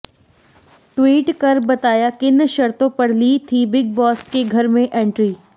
tweet कर बताया किन शर्तों पर ली ती बिग बॉस के घर में एंट्री